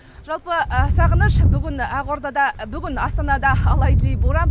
жалпы сағыныш бүгін ақордада бүгін астанада алай дүлей боран